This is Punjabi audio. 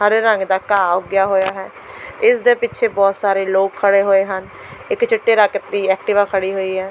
ਹਰੇ ਰੰਗ ਦਾ ਘਾਹ ਉੱਗਿਆ ਹੋਇਆ ਹੈ ਇਸ ਦੇ ਪਿੱਛੇ ਬਹੁਤ ਸਾਰੇ ਲੋਕ ਖੜ੍ਹੇ ਹੋਏ ਹਨ ਇੱਕ ਚਿੱਟੇ ਰੰਗ ਦੀ ਐਕਟਿਵਾ ਖੜ੍ਹੀ ਹੋਈ ਹੈ।